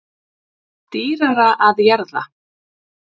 Dýrara að jarða